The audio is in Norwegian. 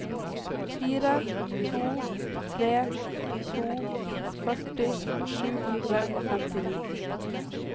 fire to tre to førti sju hundre og femtini